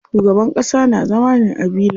Shugaban ƙasa na zama ne a villa.